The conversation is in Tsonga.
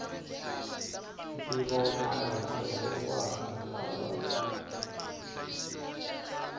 ntivomarito wa ha lava